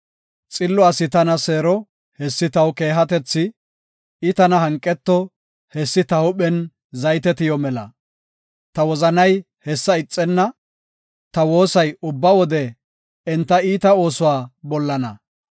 Xillo asi tana seero, hessi taw keehatethi, I tana hanqeto, hessi ta huuphen zayte tiyo mela. Ta wozanay hessa ixenna; Ta woosay ubba wode enta iita oosuwa bollana.